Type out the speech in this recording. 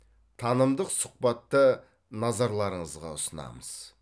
танымдық сұхбатты назарларыңызға ұсынамыз